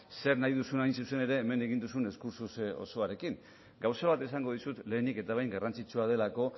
zer nahi duzun hain zuzen ere hemendik egin duzun diskurtso osoarekin gauza bat esango dizut lehenik eta behin garrantzitsua delako